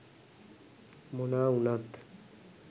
මොනා උනත්